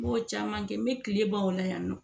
M'o caman kɛ n bɛ kile ban o la yan nɔ